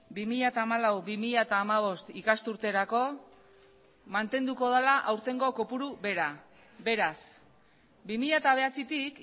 bi mila hamalau bi mila hamabost ikasturterako mantenduko dela aurtengo kopuru bera beraz bi mila bederatzitik